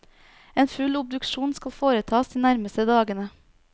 En full obduksjon skal foretas de nærmeste dagene.